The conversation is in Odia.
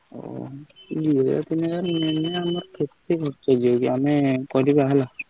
ଆମେ କରିବା ହେଲା।